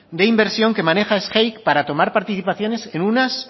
de inversión que maneja sgeic para tomar participaciones en unas